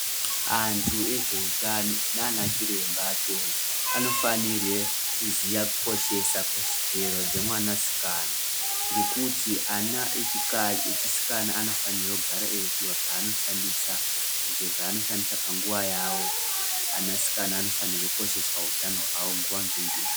Antu ezveutano nana chiremba akhona, anofanire kuziya kukoshesa kodzero dzemwanasikana. Ngekuti ana echikadzi, echisikana anofanira kugara eipuwa zvaanoshsndisa , izvo zvaanoshandisa panguwa yawo. Anasikana anofanira kukoshesa utano hwavo nguva-nenguva.